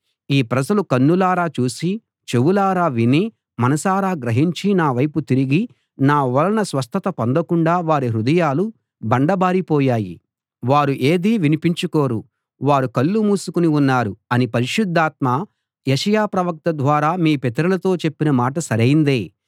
ఈ ప్రజలు కన్నులారా చూసి చెవులారా విని మనసారా గ్రహించి నా వైపు తిరిగి నా వలన స్వస్థత పొందకుండా వారి హృదయాలు బండబారి పోయాయి వారు ఏదీ వినిపించుకోరు వారు కళ్ళు మూసుకుని ఉన్నారు అని పరిశుద్ధాత్మ యెషయా ప్రవక్త ద్వారా మీ పితరులతో చెప్పిన మాట సరైందే